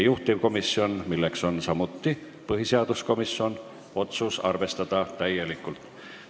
Juhtivkomisjoni, milleks on samuti põhiseaduskomisjon, otsus on arvestada täielikult.